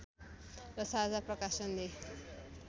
र साझा प्रकाशनले